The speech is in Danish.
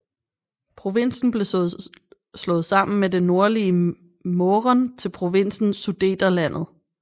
Provinsen blev slået sammen med det nordlige Mähren til provinsen Sudeterlandet